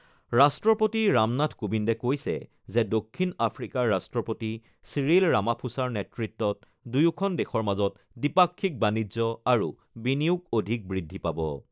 ৰাষ্ট্ৰপতি ৰামনাথ কোবিন্দে কৈছে যে, দক্ষিণ আফ্ৰিকাৰ ৰাষ্ট্ৰপতি চিৰিল ৰামাফোছাৰ নেতৃত্বত দুয়োখন দেশৰ মাজৰ দ্বিপাক্ষিক বাণিজ্য আৰু বিনিয়োগ অধিক বৃদ্ধি পাব।